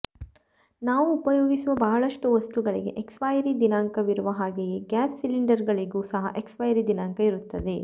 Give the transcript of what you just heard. ನಾವು ಉಪಯೋಗಿಸುವ ಬಹಳಷ್ಟು ವಸ್ತುಗಳಿಗೆ ಎಕ್ಸ್ಪೈರಿ ದಿನಾಂಕ ವಿರುವ ಹಾಗೆಯೇ ಗ್ಯಾಸ್ ಸಿಲಿಂಡರ್ ಗಳಿಗೂ ಸಹ ಎಕ್ಸ್ಪೈರಿ ದಿನಾಂಕ ಇರುತ್ತದೆ